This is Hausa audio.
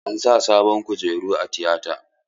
An sa sabin kujeru a tiyata.